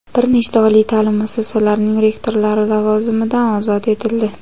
bir nechta oliy ta’lim muassasalarining rektorlari lavozimidan ozod etildi.